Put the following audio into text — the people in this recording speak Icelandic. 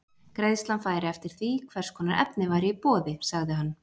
Greiðslan færi eftir því, hvers konar efni væri í boði, sagði hann.